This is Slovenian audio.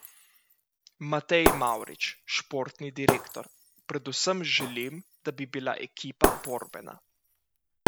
Matej Mavrič, športni direktor: 'Predvsem želim, da bi bila ekipa borbena.